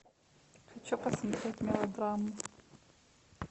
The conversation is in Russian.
хочу посмотреть мелодраму